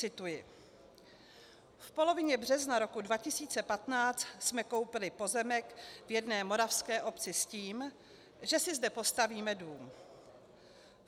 Cituji: "V polovině března roku 2015 jsme koupili pozemek v jedné moravské obci s tím, že si zde postavíme dům.